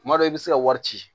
Kuma dɔ i bɛ se ka wari ci